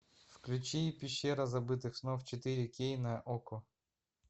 включи пещера забытых снов четыре кей на окко